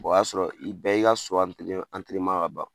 o y'a sɔrɔ i bɛɛ y'i ka so ka ban.